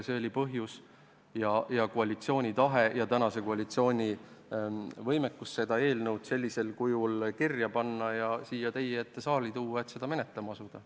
See oli põhjus ning selline on tänase koalitsiooni tahe ja võimekus see eelnõu sellisel kujul kirja panna ja siia teie ette tuua, et seda menetlema asuda.